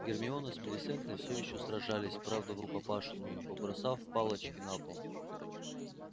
гермиона с милисентой всё ещё сражались правда врукопашную побросав палочки на пол